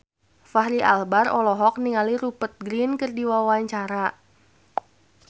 Fachri Albar olohok ningali Rupert Grin keur diwawancara